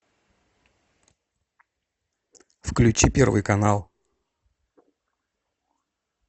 включи первый канал